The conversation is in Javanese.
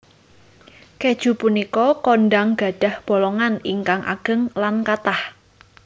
Kèju punika kondhang gadhah bolongan ingkang ageng lan kathah